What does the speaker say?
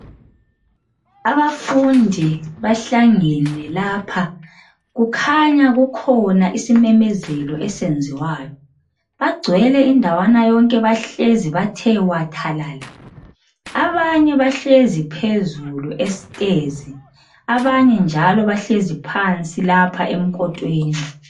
Abafundi bahlangene lapha, kukhanya kukhona isimemezelo esiyenziwayo, bagcwele indawana yonke bahlezi bathe wathalala. Abanye bahlezi phezulu esitezi abanye njalo bahlezi phansi lapha emkotweni.